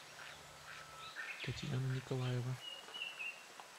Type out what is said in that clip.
татьяна николаева